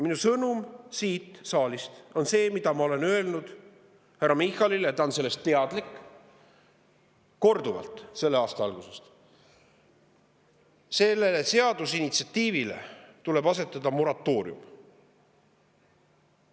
Minu sõnum siit saalist on see, mida ma olen öelnud härra Michalile – ta on sellest teadlik – korduvalt selle aasta algusest: sellele seadusinitsiatiivile tuleb asetada moratoorium.